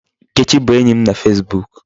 Nkechi bụ enyi m na Facebook.